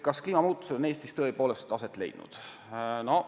Kas kliimamuutused on Eestis tõepoolest aset leidnud?